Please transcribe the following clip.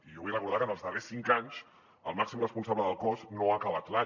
i jo vull recordar que en els darrers cinc anys el màxim responsable del cos no ha acabat l’any